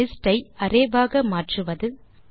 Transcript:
list ஐ array ஆக மாற்றுவது